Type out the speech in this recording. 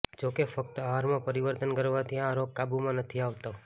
જો કે ફક્ત આહારમાં પરિવર્તન કરવાથી આ રોગ કાબૂમાં નથી આવતો